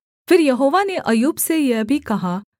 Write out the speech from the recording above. फिर यहोवा ने अय्यूब से यह भी कहा